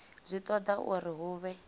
zwi toda uri hu vhe